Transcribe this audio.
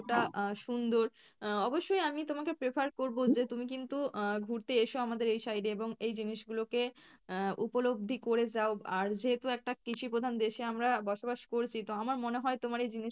টা আহ সুন্দর, আহ অবশ্যই আমি তোমাকে prefer করবো যে তুমি কিন্তু আহ ঘুড়তে এসো আমাদের এই side এ এবং এই জিনিস গুলো কে আহ উপলব্ধি করে যাও আর যেহেতু একটা কৃষি প্রধান দেশে আমরা বসবাস করছি তো আমার মনে হয় তোমার এই জিনিস